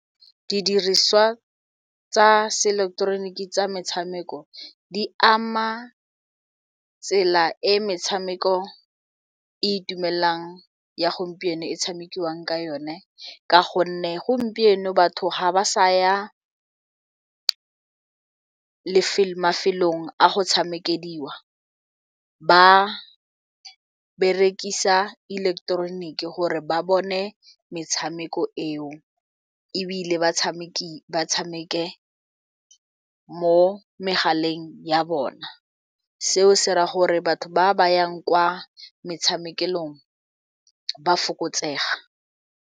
Didiriswa tsa se eleketeroniki tsa metshameko di ama tsela e metshameko e itumelela ya gompieno e tshamekiwang ka yone ka gonne gompieno batho ga ba sa ya mafelong a go tshamekeliwa ba berekisa ileketeroniki gore ba bone metshameko eo ebile ba batshameki ba tshameke mo megaleng ya bona seo se ra gore batho ba ba yang kwa metshamekong ba fokotsega.